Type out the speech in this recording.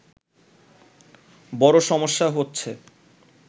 বড়ো সমস্যা হচ্ছে